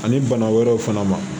Ani bana wɛrɛw fana ma